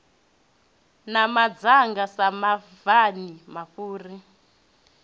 na madzanga sa mabvani mafhuri